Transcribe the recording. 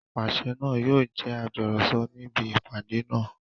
Apàṣẹ náà yóò jẹ́ agbọ̀rọ̀sọ níbi ìpàdé náà